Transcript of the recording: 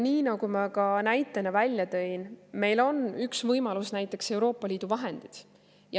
Nii nagu ma ka näitena välja tõin, meil üks võimalus on näiteks Euroopa Liidu vahendid.